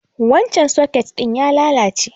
Wancan soket ɗin ya lalace.